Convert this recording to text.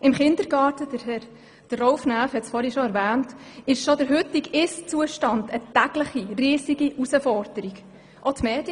Im Kindergarten ist schon der heutige Zustand täglich eine riesige Herausforderung, wie Grossrat Näf soeben erwähnt hat.